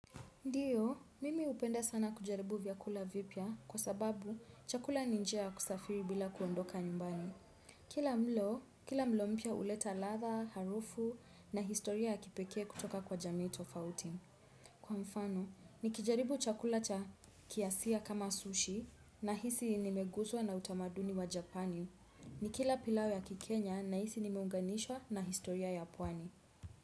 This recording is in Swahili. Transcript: Ndiyo, mimi upenda sana kujaribu vyakula vipya kwa sababu chakula ni njia kusafiri bila kuondoka nyumbani. Kila mlo, kila mlo mpya uleta ladha, harufu na historia ya kipeke kutoka kwa jamii tofauti. Kwa mfano, nikijaribu chakula cha kiasia kama sushi nahisi nimeguzwa na utamaduni wa japani. Nikila pilau ya kikenya nahisi nimeunganishwa na historia ya pwani.